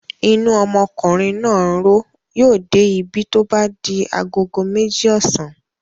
Inú ọmọkùnrin náà ń ro ó. Yóò dé ibí tó bá di agogo méjì ọ̀sán.